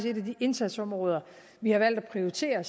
et af de indsatsområder vi har valgt at prioritere